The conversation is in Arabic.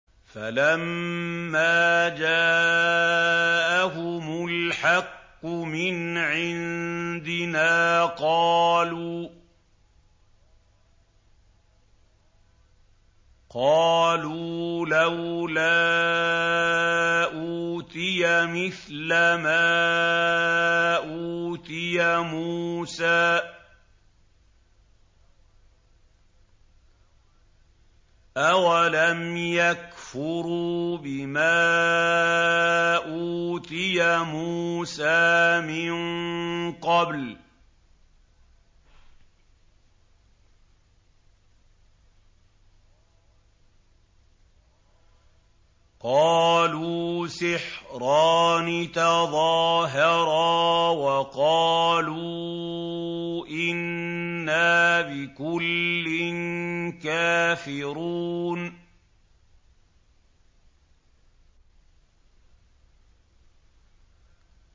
فَلَمَّا جَاءَهُمُ الْحَقُّ مِنْ عِندِنَا قَالُوا لَوْلَا أُوتِيَ مِثْلَ مَا أُوتِيَ مُوسَىٰ ۚ أَوَلَمْ يَكْفُرُوا بِمَا أُوتِيَ مُوسَىٰ مِن قَبْلُ ۖ قَالُوا سِحْرَانِ تَظَاهَرَا وَقَالُوا إِنَّا بِكُلٍّ كَافِرُونَ